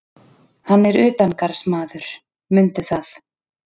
Hann er utangarðsmaður, mundu það.